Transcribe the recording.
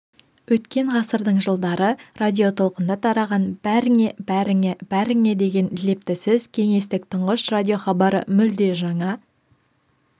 өткен ғасырдың жылдары радиотолқында тараған бәріңе бәріңе бәріңе деген лепті сөз кеңестік тұңғыш радиохабары мүлде жаңа